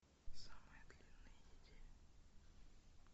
самая длинная неделя